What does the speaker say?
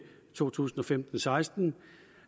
to tusind og femten til seksten